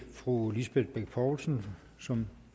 fru lisbeth bech poulsen som